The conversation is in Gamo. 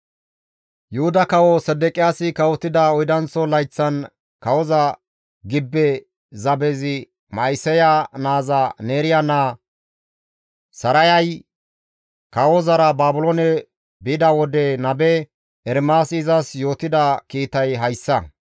Yuhuda kawo Sedeqiyaasi kawotida oydanththo layththan kawoza gibbe zabezi Ma7iseya naaza Neeriya naa Sarayay kawozara Baabiloone bida wode nabe Ermaasi izas yootida kiitay hayssa.